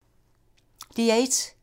DR1